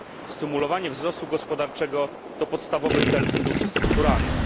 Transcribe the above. Stymulowanie wzrostu gospodarczego to podstawowy cel funduszy strukturalnych.